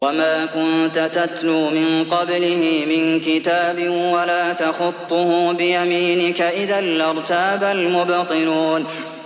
وَمَا كُنتَ تَتْلُو مِن قَبْلِهِ مِن كِتَابٍ وَلَا تَخُطُّهُ بِيَمِينِكَ ۖ إِذًا لَّارْتَابَ الْمُبْطِلُونَ